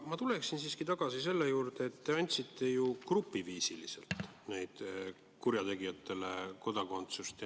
Ma tuleksin siiski tagasi selle juurde, et te andsite ju grupiviisiliselt kurjategijatele kodakondsuse.